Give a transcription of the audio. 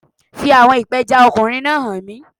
Fi àwọn ìpẹjs ọkùnrin náà hàn mí